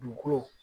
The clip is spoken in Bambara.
Dugukolo